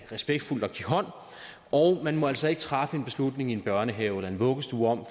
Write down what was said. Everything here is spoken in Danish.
respektfuldt at give hånd og man må altså ikke træffe en beslutning i en børnehave eller en vuggestue om